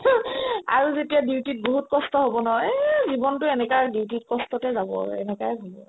আৰু যেতিয়া duty ত বহুত কষ্ট হ'ব নহয় এই জীৱনতো এনেকা duty ত কষ্টকে যাব আৰু এনেকুৱাই হ'ব আৰু